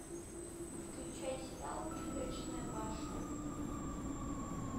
включай сериал призрачная башня